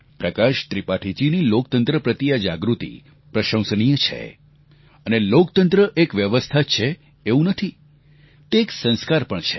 પ્રકાશ ત્રિપાઠીજીની લોકતંત્ર પ્રતિ આ જાગૃતિ પ્રશંસનીય છે અને લોકતંત્ર એક વ્યવસ્થા જ છે એવું નથી તે એક સંસ્કાર પણ છે